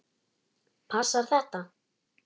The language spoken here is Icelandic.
Passar þetta?